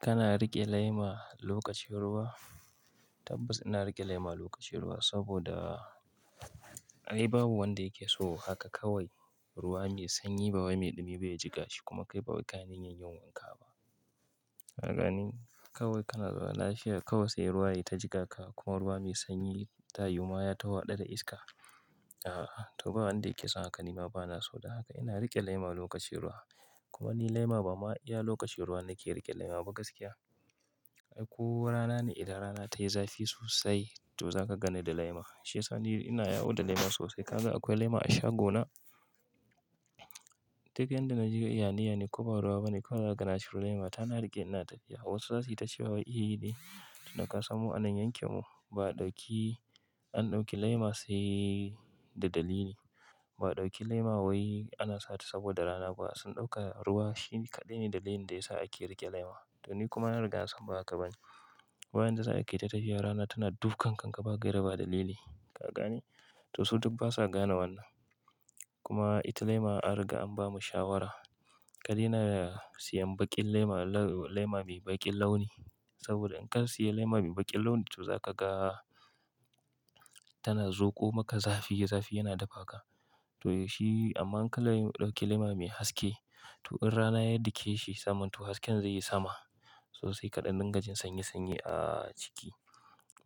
Kana riƙe lema lokacin ruwa? Tabbas ina riƙe lema lokacin ruwa saboda ai babu wanda yake so haka kawai ruwa mai sanyi ba wai mai dumi baya jika shi kuma kai ba wai ka na yin yunwa haka ba. Ka gane? Kawai kana zama lashiya kawai sai ruwa yata jika ka kuma ruwa mai sanyi ta yi mayata, ta haɗa da iska. A a, to ba wanda yake son hakan ba, nima bana so. Don haka ina riƙe lema lokacin ruwa. Kuma ni lema ba ma iya lokacin ruwa nake riƙe lema ba gaskiya. Ai ko rana ne, idan rana tayi zafi sosai to zaka gane da lema. Shi sani ina yawo da lema sosai. Kaga akwai lema a shago na. Duk yanda najeriya iyanai ne ko ba ruwa bane, ko ana gana shi ruwa lema tana riƙe ina tafiya. Wasu za suyi ta cewa iyi ne, to daka samu anan yanke mu. Ba ɗauki, an ɗauki lema sai da dalili. Ba a ɗauki lema wai ana sa ta saboda rana ba. Sun ɗauka ruwa shi kaɗai ne dalili da yasa ake riƙe lema. To ni kuma na riga zan ba ka bani. Wayanda za a kai ta tafiya rana tana dukan ka, ka baki raba da lili. Ka gane? To su duk basa gane wannan. Kuma ita lema an riga an bamu shawara. Kadena siyan baƙin lema, lema mai baƙin launi. Saboda in ka siya lema mai baƙin launi to zaka ga tana zoƙo maka zafi, zafi yana dafa ka. To shi amma in ka dab ɗauki lema mai haske to in rana ya dake shi saman to hasken zai yi sama sosai kaɗan nan gajin sanyi, sanyi a ciki.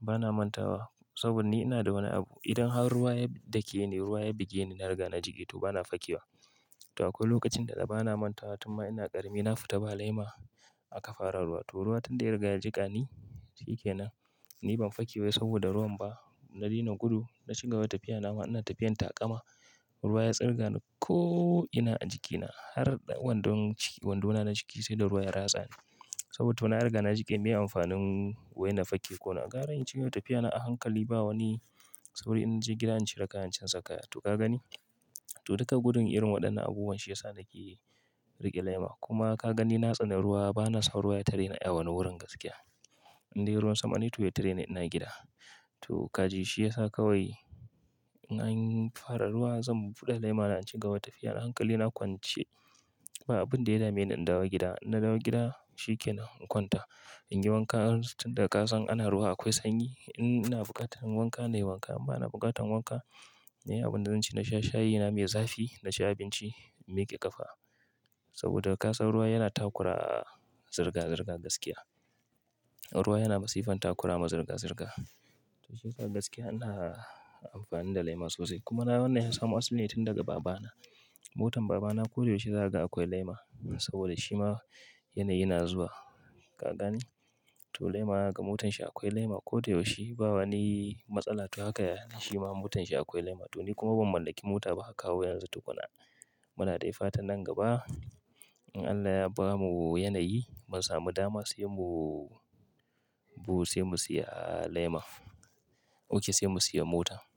Bana manta wa saboda ni ina da wani abu. Idan har ruwa ya dake ni, ruwa ya buge ni na riga na jiƙe to bana fakiwa. To akwai lokacin da bana manta wa, to ma ina ƙarami na fita ba lema aka fara ruwa. To ruwa tun da ya riga ya jika ni shikenan. Ni ban fakiwa saboda ruwan ba. Na daina gudu, na shiga wata tafiya nama, ina tafiyan taƙama. Ruwa ya tsirga ni ko ina a jikina har wandun ciki, wanduna na ciki sai da ruwa ya ratsa ni. Saboda to na riga na jika, me amfanin wai na faki ko na ƙara in shiga wata tafiya na a hankali ba wani? Saboda in naje gida in cire kayan in canza kayan. To ka gani? To duka gudun irin waɗannan abubuwan shi yasa nake riƙe lema. Kuma ka gani na tsani ruwa bana son ruwa ya tareni a wani wurin gaskiya. Indai ruwan sama ne to ya tareni ina gida. To kaji shi yasa kawai an fara ruwa zan buɗe lema na shiga wata tafiya na a hankali na kwance. Ba abun da ya dame ni indawo gida. In na dawo gida shikenan in kwanta. In yi wanka tun daga ka san ana ruwa akwai sanyi. In ina buƙatar inyi wanka nayi wanka amma bana buƙatar wanka. Ni abunda zan ci na sha shayi na mai zafi, na ci abinci na miƙe ƙafa. Saboda ka san ruwa yana takura, zirga-zirga gaskiya. Ruwa yana masifan takura ma zirga-zirga. To agaskiya ina amfani da lema sosai. Kuma na wannan yasa mo asali ne tun daga baba. Motan babana koda yaushe zaka ga akwai lema saboda shi ma yanayi yana zuwa. Ka gani? To lema kaga motan shi akwai lema koda yaushe ba wani matsala. To haka yake, shi ma motan shi akwai lema. To ni kuma ban mallaki mota ba har kawo yanzu tukuna. Muna daifatan nan gaba in Allah ya bamu yanayi mun samu dama sai mu, buhu sai mu siya lema. Ok sai mu siya mota.